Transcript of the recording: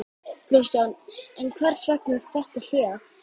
Kristján: En hvers vegna þetta hlé?